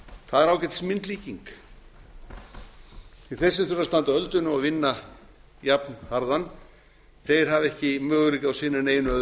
það er ágætis myndlíking því þeir sem þurfa að standa ölduna og vinna jafn harðan þeir hafa ekki möguleika á að sinna neinu